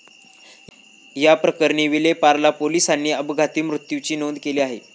याप्रकरणी विलेपार्ले पोलिसांनी अपघाती मृत्यूची नोंद केली आहे.